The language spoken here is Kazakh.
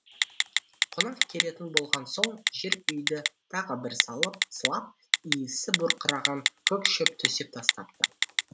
қонақ келетін болған соң жер үйді тағы бір сылап иісі бұрқыраған көк шөп төсеп тастапты